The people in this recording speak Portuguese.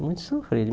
É muito sofrido.